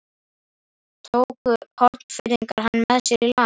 Tóku Hornfirðingar hann með sér í land.